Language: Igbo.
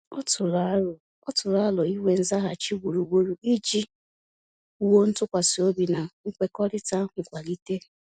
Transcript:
Ọ tụrụ arọ Ọ tụrụ arọ inwe nzaghachi gburugburu iji wuo ntụkwasị obi na nkwekọrịta nkwalite